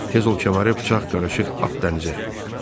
Tez ol, kəməri bıçaq qarışıq at dənizə.